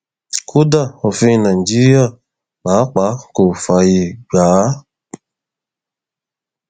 kódà òfin nàìjíríà pàápàá kò fààyè gbà á